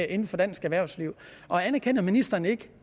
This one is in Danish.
inden for dansk erhvervsliv anerkender ministeren ikke